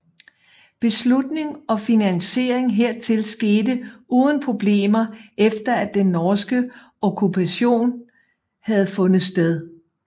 Beslutning og finansiering hertil skete uden problemer efter at den norske okkupation havde fundet sted